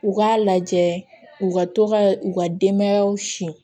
U k'a lajɛ u ka to ka u ka denbayaw sin